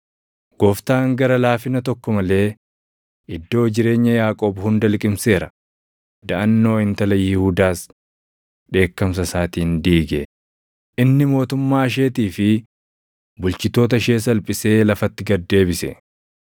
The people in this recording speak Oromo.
Gooftaan gara laafina tokko malee iddoo jireenya Yaaqoob hunda liqimseera; daʼannoo intala Yihuudaas dheekkamsa isaatiin diige. Inni mootummaa isheetii fi bulchitoota ishee salphisee lafatti gad deebise.